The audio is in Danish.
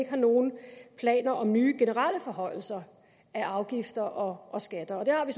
ikke har nogen planer om nye generelle forhøjelser af afgifter og og skatter og det har vi